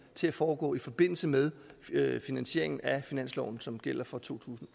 til at foregå i forbindelse med finansieringen af finansloven som gælder for totusinde